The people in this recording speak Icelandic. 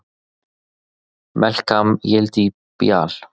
Melkam Yelidet Beaal!